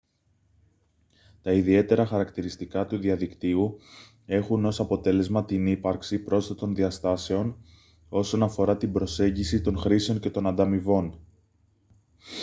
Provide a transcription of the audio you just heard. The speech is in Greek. τα ιδιαίτερα χαρακτηριστικά του διαδικτύου έχουν ως αποτέλεσμα την ύπαρξη πρόσθετων διαστάσεων όσον αφορά την προσέγγιση των χρήσεων και των ανταμοιβών